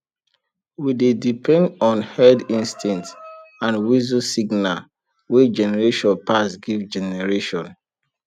we dey depend on herd instinct and whistle signal wey generation pass give generation